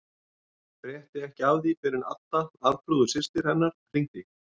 Frétti ekki af því fyrr en Adda, Arnþrúður systir hennar, hringdi.